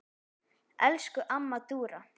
Elsku amma Dúra.